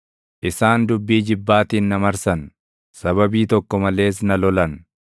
Isaan dubbii jibbaatiin na marsan; sababii tokko malees na lolan.